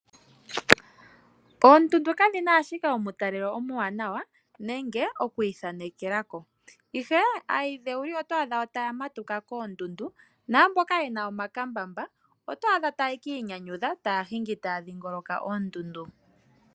Oondundu kadhina ashike omutalelo omuwanawa nenge okwiithanekela ko, ihe aayidhewuli oto adha wo taya matuka koondundu, naamboka yena omakambamba otwaadha taya kiinyanyudha taya hingi taa dhingoloka oondundu.